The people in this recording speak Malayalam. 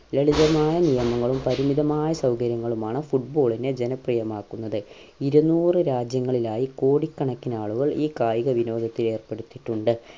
ലളിതമായ നിയമങ്ങളും പരിമിതമായ സൗകര്യങ്ങളുമാണ് football നെ ജനപ്രിയമാക്കുന്നത് ഇരുന്നൂറ് രാജ്യങ്ങളിലായി കോടികണക്കിനാളുകൾ ഈ കായികവിനോദത്തിന് ഏർപ്പെടുത്തിട്ടുണ്ട്